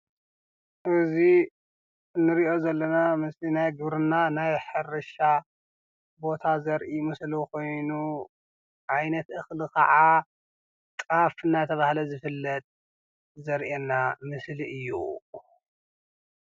እዚ ንሪኦ ዘለና ምስሊ ናይ ግብርና ናይ ሕርሻ ቦታ ዘሪኢ ምስሊ ኮይኑ ዓይነት እኸሊ ከዓ ጣፍ እናተባህለ ዝፍለጥ ዘሪኢና ምስሊ እዩ፡፡